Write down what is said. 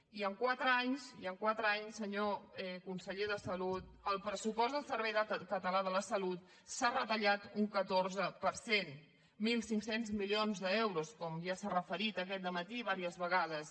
i en quatre anys i en quatre anys senyor conseller de salut el pressupost del servei català de la salut s’ha retallat un catorze per cent mil cinc cents milions d’euros com ja s’hi ha fet referència aquest dematí diverses vegades